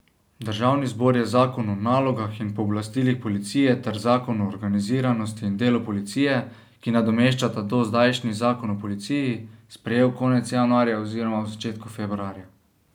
Državni zbor je zakon o nalogah in pooblastilih policije ter zakon o organiziranosti in delu policije, ki nadomeščata dozdajšnji zakon o policiji, sprejel konec januarja oziroma v začetku februarja.